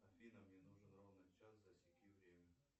афина мне нужен ровно час засеки время